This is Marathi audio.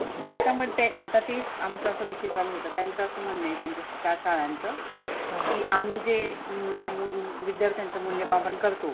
आता मग ते आताते आमचा असा विषय चालू होता तर त्यांच असं म्हणनं आहे त्या शाळांच की आम्ही जे म विद्यार्थ्यंच मुल्य मापण करतो.